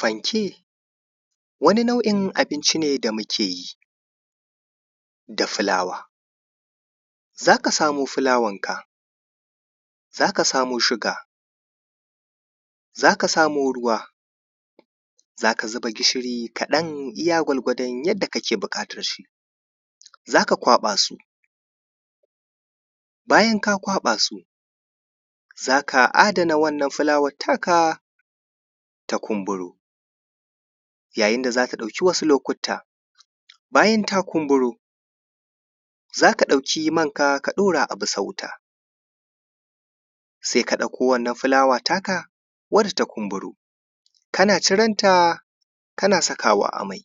fanke wani nau’in abinci ne da muke yi da fulawa zaka samu fulawar ka zaka samo sugar zaka samo ruwa zaka zuba gishiri kaɗan iya gwargwadon yanda kake buƙatar shi zaka kwaɓa su bayan ka kwaɓa su zaka adana wannan fulawar taka ta kumburo yayin da zaka ɗauki wasu lokuta bayan ta kumburo zaka ɗauki mai ka ɗaura a wuta sai ka ɗauko wannan fulawar taka wacce ta kumburo kana ciren ta kana sakawa a mai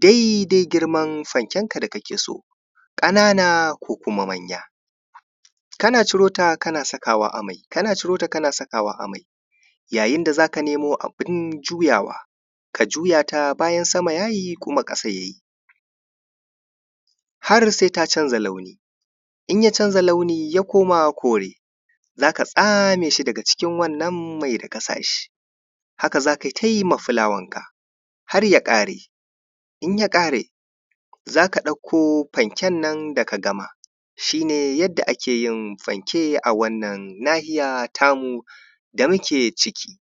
dai-dai girman fanken ka da kake so ƙanana ko kuma manya kana ciro ta kana sakawa a mai kana ciro ta kana sakawa a mai yayin da zaka nemo abun juyawa ka juyata bayan sama yayi kuma ƙasa yayi har sai ta canza launi inya canza launi ya koma kore zakat same shi daga cikin wannan mai da ka sa shi aka za kai tayi ma fulawar ka har ya ƙare in ya ƙare zaka ɗauko fanken nan da ka gama shi ne yanda ake yin fanke a wannan nahiya ta mu da muke ciki